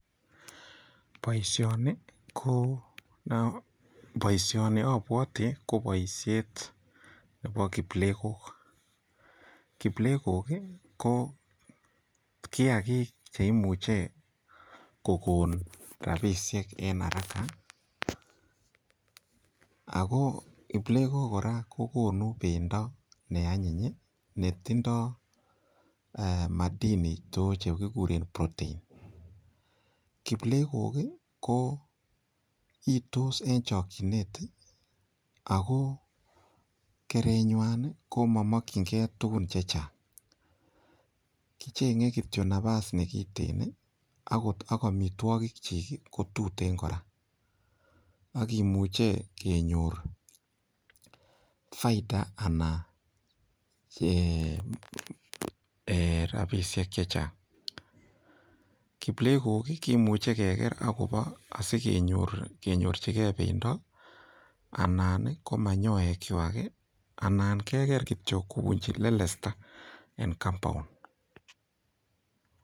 Boishoni ko, boishoni abwoti ko boishet nebo kiplegok. Kiplegok ko kiagik che imuchei kokon rabishek eng haraka. Ako kiplegok kora kokonu pendo neanyiny netindoi madhini chekigure protein. Kiplegok ko itos eng chokchinet ako kereng'wai ko mamokchingei tukun chechang. Kichengei kitio nafas ne kiteen ak kechenchi amitwagik chik ko tuteen kora. Akimuchei kenyor faida anan rapishek chechang. Kiplegok kimuchei keker asikesich pendo anan ko manyoyekwai ana keker kitio kopunchi lelesta eng compound